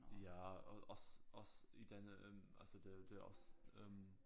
Ja og også også i denne øh altså det det også øh